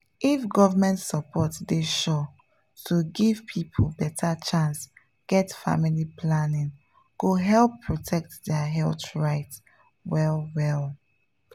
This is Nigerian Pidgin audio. if government support dey sure to give people better chance get family planning go help protect their health rights well-well.